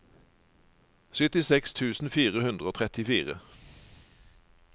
syttiseks tusen fire hundre og trettifire